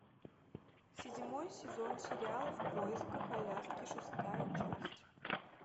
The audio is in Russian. седьмой сезон сериал в поисках аляски шестая часть